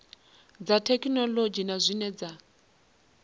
dza thekhinolodzhi na zwine dza